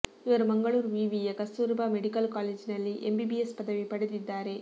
ಇವರು ಮಂಗಳೂರು ವಿವಿಯ ಕಸ್ತೂರಬಾ ಮೆಡಿಕಲ್ ಕಾಲೇಜಿನಲ್ಲಿ ಎಂಬಿಬಿಎಸ್ ಪದವಿ ಪಡೆದಿದ್ದಾರೆ